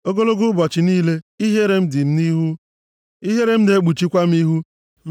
Ogologo ụbọchị niile, ihere m dị m nʼihu, ihere m na-ekpuchikwa m ihu,